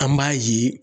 An b'a ye